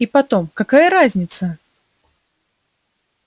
и потом какая разница